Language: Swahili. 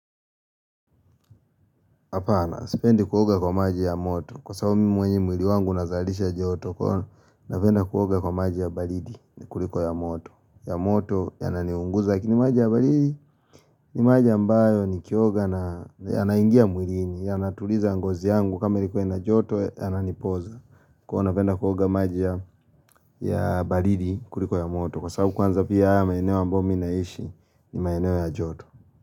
Hapana. Sipendi kuoga kwa maji ya moto. Kwa sababu mimi mwenye mwili wangu unazalisha joto. Napenda kuoga kwa maji ya baridi kuliko ya moto. Ya moto yananiunguza Kini maji ya balidi ni maji ambayo nikioga na yanaingia mwili. Yanatuliza ngozi yangu kama ilikuwa ina joto yananipoza. Kwa nafenda kuoga maji ya balidi kuliko ya moto. Kwa sabu kwanza pia haya maeneo ambao mimi naishi ni maeneo ya joto.